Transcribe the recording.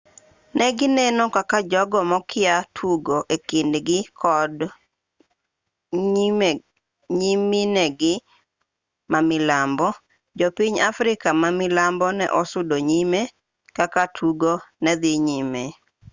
negineno kaka jogo mokia tugo ekind gi kod nyiminegi mamilambo jo piny africa mamilambo ne osudo nyime kaka tugo nedhi nyime